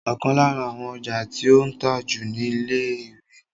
Ọ̀kan lára àwọn ọjà tí ó ń tà jù ni ìwé títa